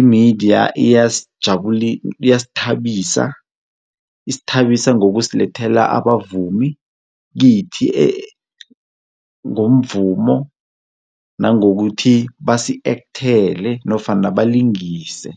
imidiya iyasithabisa, isithabisa ngokusilethela abavumi kithi ngomvumo nangokuthi basi-ekthele nofana balingise.